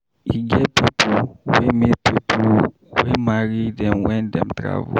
E get pipo wey meet pipo wey marry dem wen dem travel.